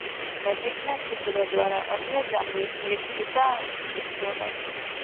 નજીકના છિદ્ર દ્વારા અન્ય ચામડું સ્ટ્રીપ ટૂંકા અંત ચૂકશો નહીં